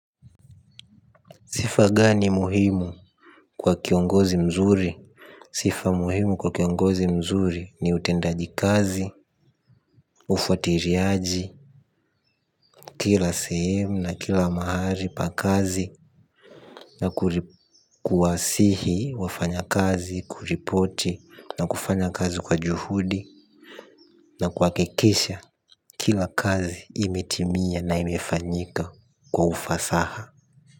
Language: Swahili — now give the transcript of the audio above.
Sifa gani muhimu kwa kiongozi mzuri? Sifa muhimu kwa kiongozi mzuri ni utendaji kazi, ufuatiliaji, kila sehemu na kila mahali pa kazi na kuwasihi wafanyakazi kuripoti na kufanya kazi kwa juhudi na kuhakikisha kila kazi imetimia na imefanyika kwa ufasaha.